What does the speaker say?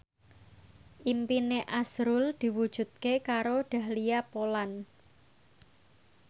impine azrul diwujudke karo Dahlia Poland